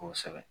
Kosɛbɛ